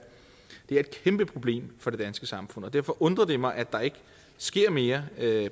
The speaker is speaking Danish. et kæmpe problem for det danske samfund og derfor undrer det mig at der ikke sker mere